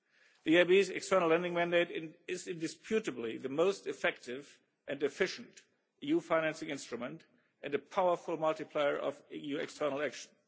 The EIB's external lending mandate is indisputably the most effective and efficient EU financing instrument and a powerful multiplier of EU external action.